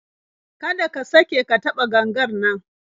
Kada ka sake ka taɓa gangar nan